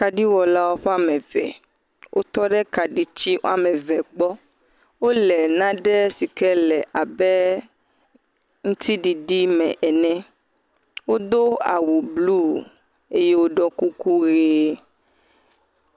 Kaɖiwɔlawo woame eve. Wole naɖe sike le abe aŋutiɖiɖi me ene. Wodo awu blu eye woɖɔ kuku ʋe.